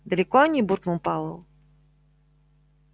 далеко они буркнул пауэлл